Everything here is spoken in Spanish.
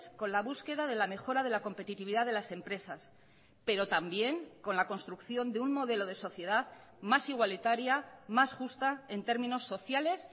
con la búsqueda de la mejora de la competitividad de las empresas pero también con la construcción de un modelo de sociedad más igualitaria más justa en términos sociales